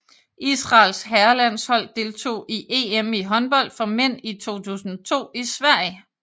Israels herrelandshold deltog i EM i håndbold for mænd i 2002 i Sverige